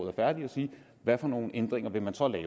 er færdig og se hvad for nogle ændringer man så vil